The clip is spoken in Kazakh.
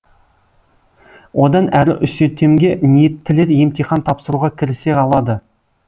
одан әрі үсетемге ниеттілер емтихан тапсыруға кірісе алады